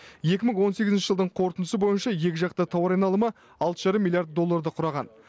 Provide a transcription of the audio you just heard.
екі мың он сегізінші жылдың қорытындысы бойынша екіжақты тауар айналымы алты жарым миллиард долларды құраған